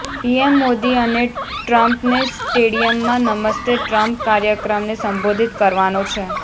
PM Modi અને ટ્રમ્પને સ્ટેડિયમમાં નમસ્તે ટ્રમ્પ કાર્યક્રમને સંબોધિત કરવાનો છે